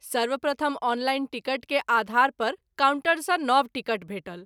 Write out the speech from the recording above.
सर्वप्रथम online ticket के आधार पर कॉउन्टर सँ नव टिकट भेटल।